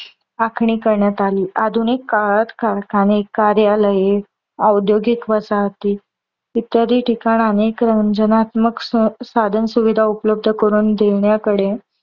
आखणी करण्यात आली. आधुनिक काळात कारखाने, कार्यालये, औद्योगिक वसाहती इत्यादी ठिकाणात अनेक रंजनात्मक साधन सुविधा उपलब्ध करून देण्याकडे